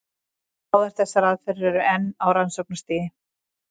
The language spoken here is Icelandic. Báðar þessar aðferðir eru enn á rannsóknarstigi.